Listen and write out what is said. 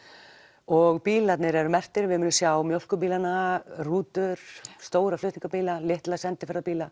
og bílarnir eru merktir við munum sjá rútur stóra flutningabíla litla